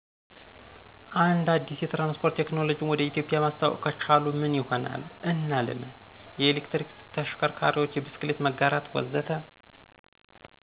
አንድ አዲስ የትራንስፖርት ቴክኖሎጂን ወደ ኢትዮጵያ ማስተዋወቅ ከቻሉ ምን ይሆናል እና ለምን? (የኤሌክትሪክ ተሽከርካሪዎች፣ የብስክሌት መጋራት፣ ወዘተ.)